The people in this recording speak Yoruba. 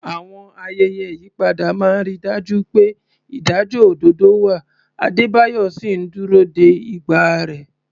Àwọn ayẹyẹ ìyípadà máa ń rí i dájú pé ìdájọ́ òdodo wà, Adebayo sì ń dúró de ìgbà rẹ̀.